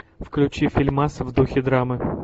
включи фильмас в духе драмы